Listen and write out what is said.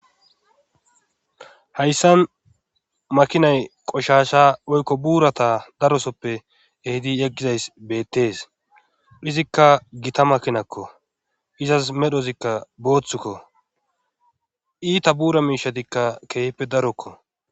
hayssan makinay qoshasha oykko buurata darosoppe ehidi yeggizays beettees izikka gita makinakko izas medhozikka booththukko iita buura miishatikka keehippe darokko